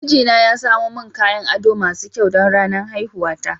Mijina ya samo min kayan ado masu kyau don ranar haihuwata.